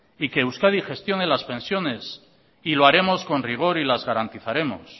y que euskadi gestione las pensiones y lo haremos con rigor y las garantizaremos